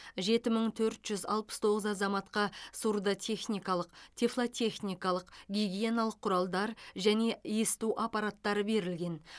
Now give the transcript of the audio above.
жеті мың төрт жүз алпыс тоғыз азаматқа сурдотехникалық тифлотехникалық гигиеналық құралдар және есту аппараттары берілген